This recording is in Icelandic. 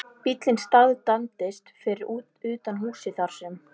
Bíllinn staðnæmdist fyrir utan húsið þar sem